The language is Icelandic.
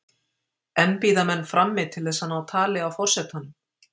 Enn bíða menn frammi til þess að ná tali af forsetanum.